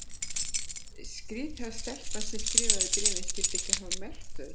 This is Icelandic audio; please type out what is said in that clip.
Skrítið að stelpan sem skrifaði bréfin skyldi ekki hafa merkt þau.